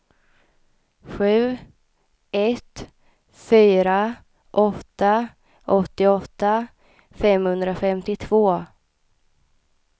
sju ett fyra åtta åttioåtta femhundrafemtiotvå